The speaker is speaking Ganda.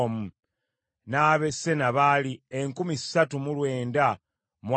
n’ab’e Sena baali enkumi ssatu mu lwenda mu asatu (3,930).